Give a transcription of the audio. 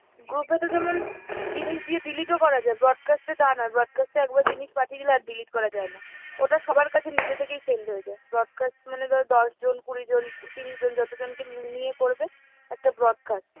group এ তো যেমন জিনিস দিয়ে delete ও করা যায় broadcast এ তা না, broadcast এ একবার জিনিস পাঠিয়ে দিলে আর জিনিস delete করা যায় না, ওটা সবার কাছে নিজে থেকে send হয়ে যায়। broadcast মানে ধর দশজন, কুড়িজন, তিরিশজন যতজনকে উম নিয়ে করবে একটা broadcast।